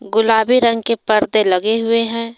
गुलाबी रंग के परदे लगे हुए हैं।